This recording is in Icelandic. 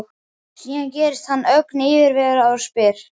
Síðan gerist hann ögn yfirvegaður og spyr